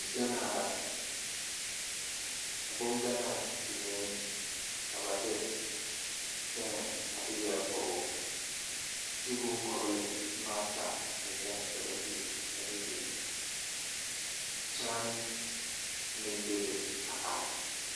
Diɡanaa la a bonɡanaa biŋeŋ ka ba de pɛmɛ a de yɛre pɔɡe o zu boŋkɔɡele boma ata la ka ba iri a de biŋ kyaane meŋ bebe a are.